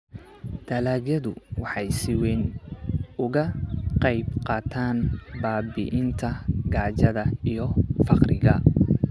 dalagyadu waxay si weyn uga qaybqaataan baabi'inta gaajada iyo faqriga.